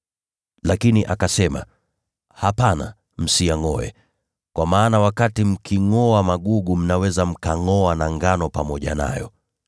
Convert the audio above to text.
“Lakini akasema, ‘Hapana, msiyangʼoe, kwa maana wakati mkingʼoa magugu mnaweza mkangʼoa na ngano pamoja nayo.